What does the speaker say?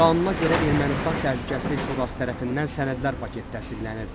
Qanuna görə Ermənistan Təhlükəsizlik Şurası tərəfindən sənədlər paketi təsdiqlənir.